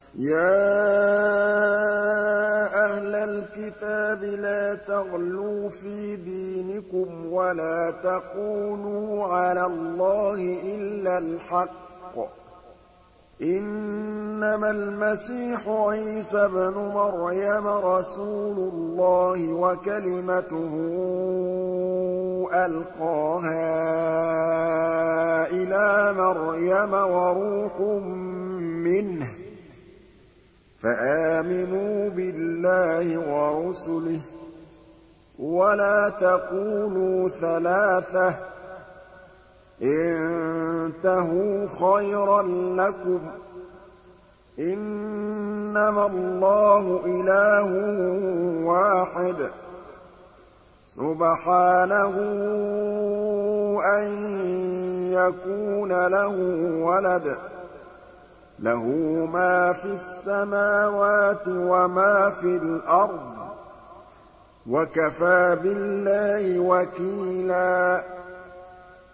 يَا أَهْلَ الْكِتَابِ لَا تَغْلُوا فِي دِينِكُمْ وَلَا تَقُولُوا عَلَى اللَّهِ إِلَّا الْحَقَّ ۚ إِنَّمَا الْمَسِيحُ عِيسَى ابْنُ مَرْيَمَ رَسُولُ اللَّهِ وَكَلِمَتُهُ أَلْقَاهَا إِلَىٰ مَرْيَمَ وَرُوحٌ مِّنْهُ ۖ فَآمِنُوا بِاللَّهِ وَرُسُلِهِ ۖ وَلَا تَقُولُوا ثَلَاثَةٌ ۚ انتَهُوا خَيْرًا لَّكُمْ ۚ إِنَّمَا اللَّهُ إِلَٰهٌ وَاحِدٌ ۖ سُبْحَانَهُ أَن يَكُونَ لَهُ وَلَدٌ ۘ لَّهُ مَا فِي السَّمَاوَاتِ وَمَا فِي الْأَرْضِ ۗ وَكَفَىٰ بِاللَّهِ وَكِيلًا